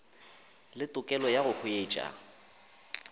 le tokelo ya go hwetša